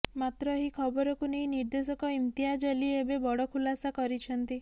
ମାତ୍ର ଏହି ଖବରକୁ ନେଇ ନିର୍ଦ୍ଦେଶକ ଇମତିଆଜ୍ ଅଲ୍ଲୀ ଏବେ ବଡ ଖୁଲାସା କରିଛନ୍ତି